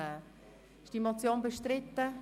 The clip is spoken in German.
Wird die Motion bestritten?